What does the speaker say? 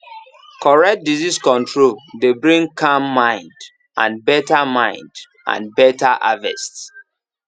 correct disease control dey bring calm mind and better mind and better harvest